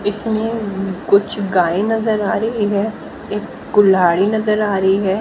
इसमें कुछ गाय नजर आ रही है एक कुल्हाड़ी नजर आ रही है।